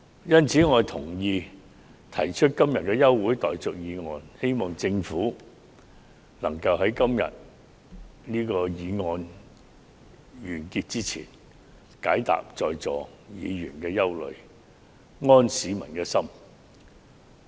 因此，我同意今天提出的休會待續議案，希望政府能在這項議案完結前，釋除各位在座議員的憂慮，並安市民之心。